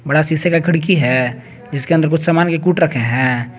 बड़ा शीशे का खिड़की है जिसके अंदर कुछ सामान भी कूट रखे हैं।